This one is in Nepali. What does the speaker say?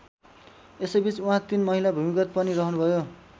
यसैबीच उहाँ तीन महिना भूमिगत पनि रहनुभयो।